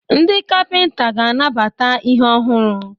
Ndị kapịnta ga-anabata ihe ọhụrụ.